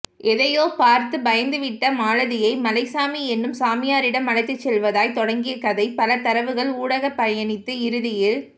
எதையோ பார்த்துப் பயந்துவிட்ட மாலதியை மலைச்சாமி என்னும் சாமியாரிடம் அழைத்துச்செல்வதாய் தொடங்கிய கதை பல தரவுகள் ஊடாகப்பயணித்து இறுதியில்